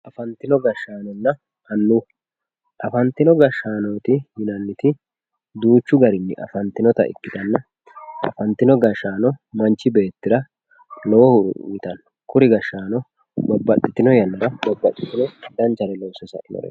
afantino gashshaanonna annua afntino gashshaanooti yinanniti duuchu garinni afantinota ikkitanna afantino gashshaano manchi beettira lowo horo uyiitanno kuri gashshaano babbaxitino yannara babbaxino danchare loosse sainoreeti.